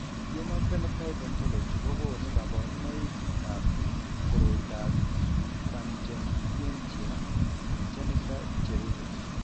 Human Phenotype Ontology kokonu kabarunoikab koriotoab Pachyonychia congenita cherube.